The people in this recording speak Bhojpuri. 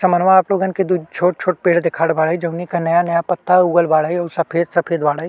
समनवा आप लोगन के दु छोट-छोट पेड़ दिखत बाड़ें जउने के नया-नया पत्ता उगल बाड़े और सफ़ेद-सफ़ेद बाड़े।